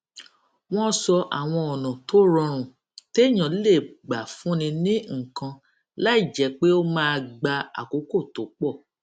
wón sọ àwọn ònà tó rọrùn téèyàn lè gbà fúnni ní nǹkan láìjé pé ó máa gba àkókò tó pò